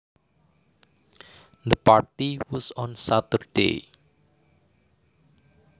The party was on Saturday